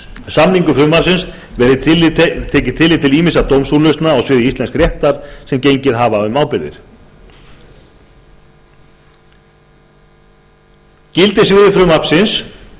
samningu frumvarpsins verið tekið tillit til ýmissa dómsúrlausna á sviði íslensks réttar sem gengið hafa um ábyrgðir gildissviði frumvarpsins